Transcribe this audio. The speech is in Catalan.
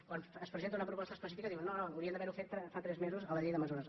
quan es presenta una proposta específica diuen no no haurien d’haver·ho fet fa tres mesos a la llei de mesures